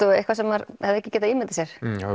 og eitthvað sem maður hefði ekki getað ímyndað sér